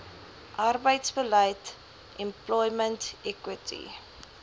arbeidsbeleid employment equity